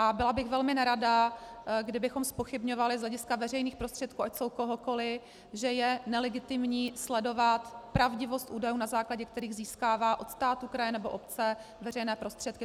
A byla bych velmi nerada, kdybychom zpochybňovali z hlediska veřejných prostředků, ať jsou kohokoli, že je nelegitimní sledovat pravdivost údajů, na základě kterých získává od státu, kraje nebo obce veřejné prostředky.